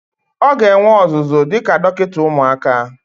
Ọ ga-enwe ọzụzụ dịka dọkịta ụmụaka.